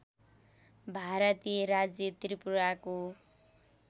भारतीय राज्य त्रिपुराको